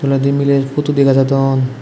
adi mile putu dega jadon.